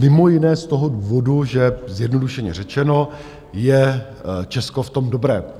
Mimo jiné z toho důvodu, že, zjednodušeně řečeno, je Česko v tom dobré.